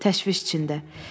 Təşviş içində.